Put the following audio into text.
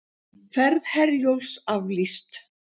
Ferð Herjólfs aflýst